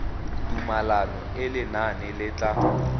tumalano e lenane le tla